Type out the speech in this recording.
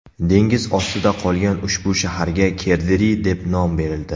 Dengiz ostida qolgan ushbu shaharga Kerderi deb nom berildi.